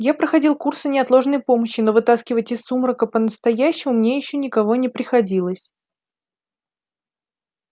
я проходил курсы неотложной помощи но вытаскивать из сумрака по-настоящему мне ещё никого не приходилось